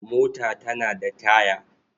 Mota tana da taya.